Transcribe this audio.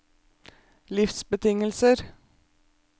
livsbetingelser